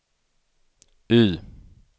Y